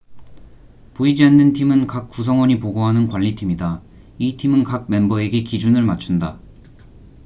"""보이지 않는 팀""은 각 구성원이 보고하는 관리팀이다. 이 팀은 각 멤버에게 기준을 맞춘다.